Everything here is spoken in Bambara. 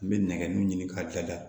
N bɛ nɛgɛdon ɲini k'a laja